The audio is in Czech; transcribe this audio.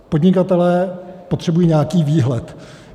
Podnikatelé potřebují nějaký výhled.